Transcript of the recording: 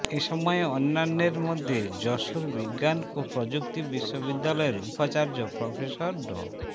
এসময় অন্যান্যের মধ্যে যশোর বিজ্ঞান ও প্রযুক্তি বিশ্ববিদ্যালয়ের উপাচার্য প্রফেসর ড